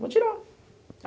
Vou tirar.